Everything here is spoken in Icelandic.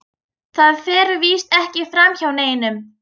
Það fer víst ekki framhjá neinum.